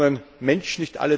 10 Millionen Menschen.